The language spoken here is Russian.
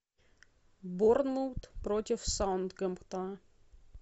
борнмут против саутгемптон